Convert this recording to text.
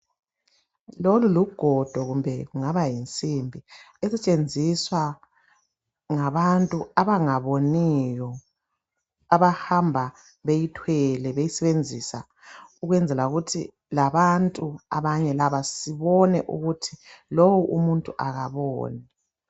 Lolu lugodo kumbe kungaba yinsimbi esetshenziswa ngabantu abangaboniyo abahamba beyithwele beyisebenzisa ukwenzela ukuthi labantu abanye laba sibone ukuthi lowo umuntu akaboni.